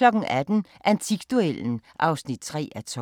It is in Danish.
18:00: Antikduellen (3:12)